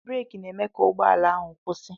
Breeki na-eme ka ụgbọ ala ahụ kwụsị